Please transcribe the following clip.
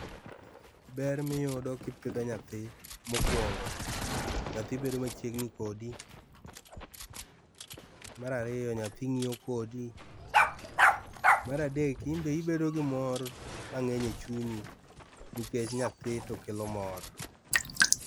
Ber miyudo kipidho nyathi mokuongo nyathi bedo machiegni kodi, mar ariyo nyathi ngiyo kodi mar adek inbe ibedo gi mor mangeny e chunyi nikech nyathi to kelo mor